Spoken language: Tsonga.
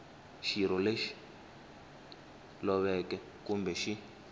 xirho lexi loveke kumbe xi